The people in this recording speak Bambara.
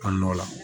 A nɔ la